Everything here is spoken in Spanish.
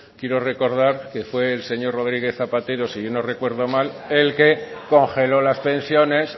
quiero recordar que fue el señor rodríguez zapatero si yo no recuerdo mal el que congeló las pensiones